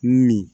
Mun ni